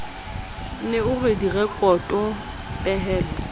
ne o re direkoto pehelo